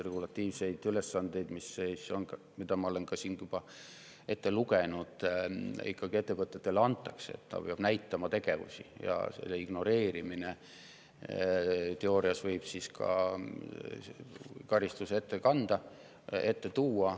Regulatiivseid ülesandeid, mida ma olen siit juba ette lugenud, ettevõtetele ikkagi antakse, nad peavad näitama tegevusi ja selle ignoreerimine võib teoorias kaasa tuua karistuse.